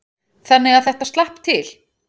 Þannig að þetta slapp til.